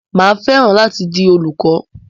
Mà á fẹ́ràn láti di olùkọ.